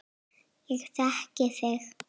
Ég þekki þig